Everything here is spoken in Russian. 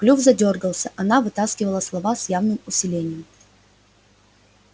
клюв задёргался она вытаскивала слова с явным усилием